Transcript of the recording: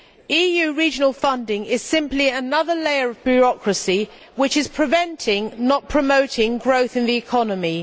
EU regional funding is simply another layer of bureaucracy which is preventing, not promoting, growth in the economy.